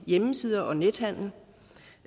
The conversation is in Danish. hjemmesider og nethandel